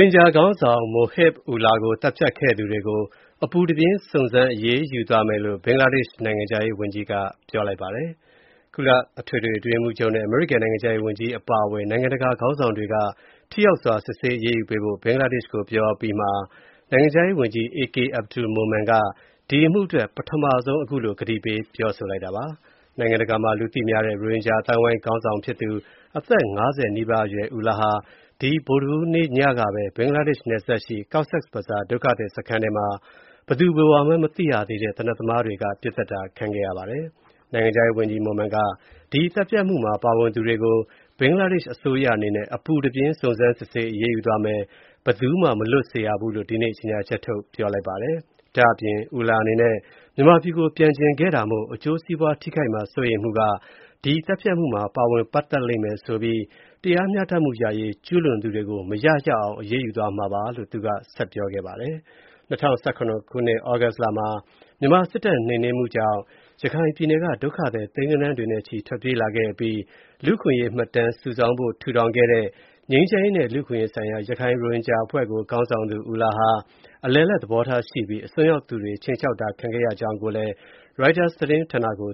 င်ဂျာခေါင်းဆောင် Mohib Ullah ကို သတ်ဖြတ်ခဲ့သူတွေကို အပူတပြင်း စုံစမ်းအရေးယူသွားမယ်လို့ ဘင်္ဂလားဒေ့ရှ် နိုင်ငံခြားရေးဝန်ကြီးက ကတိပြုလိုက်ပါတယ်။ ကုလအထွေထွေအတွင်းရေးမှူးချုပ်နဲ့ အမေရိကန် နိုင်ငံခြားရေးဝန်ကြီး အပါအဝင် နိုင်ငံတကာ ခေါင်းဆောင်တွေက ထိရောက်စွာ စစ်ဆေးအရေးယူဖို့ ဘင်္ဂလားဒေ့ရှ်ကို ပြောအပြီး နိုင်ငံခြားရေးဝန်ကြီး A.K Abdul Momen က ဒီအမှုအတွက် ပထမဆုံး အခုလို ကတိပေး ပြောလိုက်တာပါ။ နိုင်ငံတကာမှာ လူသိများတဲ့ ရိုဟင်ဂျာအသိုင်းအဝိုင်း ခေါင်းဆောင်ဖြစ်သူ ၅၀ နီးပါးအရွယ် Ullah ဟာ ဒီဗုဒ္ဓဟူးနေ့ညကပဲ ဘင်္ဂလားဒေ့ရှ်နယ်စပ် Cox’s Bazar ဒုက္ခသည်စခန်းထဲမှာ ဘယ်သူဘယ်ဝါမှန်း မသိရသေးတဲ့ သေနတ်သမားတွေက ပစ်သတ်ခဲ့တာပါ။ နိုင်ငံခြားရေးဝန်ကြီး Momen က ဒီသတ်ဖြတ်မှုမှာ ပါဝင်သူတွေကို ဘင်္ဂလားဒေ့ရှ်အစိုးရ အနေနဲ့ အပူတပြင်း စုံစမ်းစစ်ဆေးအရေးယူသွားမယ်၊ ဘယ်သူမှ မလွတ်စေရဘူးလို့ ဒီနေ့ ကြေညာချက်ထုတ် ပြောလိုက်ပါတယ်။ ဒါ့အပြင် Ullah အနေနဲ့ မြန်မာပြည်ကို ပြန်ချင်ခဲ့တာမို့ အကျိုးစီးပွားထိခိုက်မှာ စိုးရိမ်မှုက ဒီသတ်ဖြတ်မှုမှာ ပါဝင်ပတ်သက်လိမ့်မယ်လို့ဆိုပြီး တရားမျှတမှုရရေး ကျူးလွန်သူတွေကို မရရအောင် အရေးယူသွားမှာပါလို့ ဆက်ပြောခဲ့ပါတယ်။ ၂၀၁၇ သြဂုတ်လမှာ မြန်မာစစ်တပ် နှိမ်နင်းမှုကြောင့် ဒုက္ခသည် သိန်းဂဏန်းတွေနဲ့ချီ ထွက်ပြေးလာခဲ့အပြီး လူ့အခွင့်အရေးမှတ်တမ်း စုဆောင်းဖို့ ထူထောင်ခဲ့တဲ့ ငြိမ်းချမ်းရေးနဲ့ လူ့အခွင့်အရေးဆိုင်ရာ ရခိုင် ရိုဟင်ဂျာအဖွဲ့ကို ခေါင်းဆောင်သူ Ullah ဟာ အလယ်အလတ် သဘောထားရှိပြီး အစွန်းရောက်သူတွေ ခြိမ်းခြောက်တာ ခံခဲ့ရကြောင်း ရိုက်တာသတင်းဌာနကိ